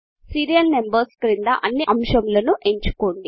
serial numbers క్రింద అన్ని అంశములను ఎంచుకోండి